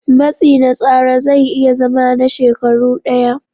Matsi na tsara zai iya zama na shekaru ɗaya.